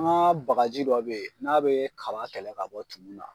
An ka bagaji dɔ bɛ ye n'a bɛ kaba kɛlɛ ka bɔ tumu na.